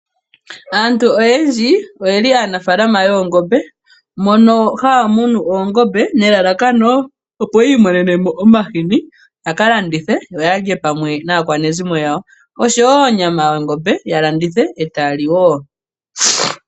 Aantu oyendji oyeli aanafaalama yoongombe. Mono haya munu oongombe nelalakano opo yiimonene mo omahini yaka landithe yo ya lye pamwe naakwanezimo yawo. Osho woo onyama yongombe ya landithe etaya li woo.